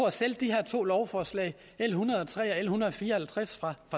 at sælge de her to lovforslag l en hundrede og tre og l en hundrede og fire og halvtreds fra